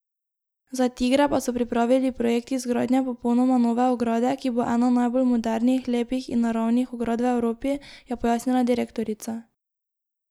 Za tigre pa so pripravili projekt izgradnje popolnoma nove ograde, ki bo ena najbolj modernih, lepih in naravnih ograd v Evropi, je pojasnila direktorica.